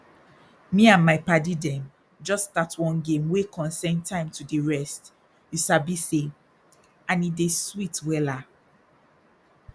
me and my padi dem jus start one game wey concern time to dey rest you sabi say and e dey sweet wella